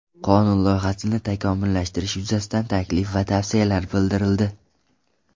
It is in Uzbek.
Qonun loyihasini takomillashtirish yuzasidan taklif va tavsiyalar bildirildi.